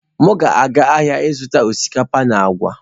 M ga-aga ahịa ịzụta osikapa na agwa.